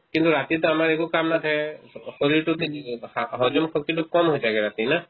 কিন্তু ৰাতিতো আমাৰ একো কাম নাথাকে শৰীৰটো তে~ তে হ~ হজম শক্তিতো কম হৈ থাকে ৰাতি না